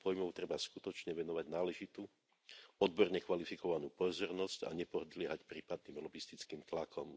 týchto pojmov treba skutočne venovať náležitú, odborne kvalifikovanú pozornosť a nepodliehať prípadným lobistickým tlakom.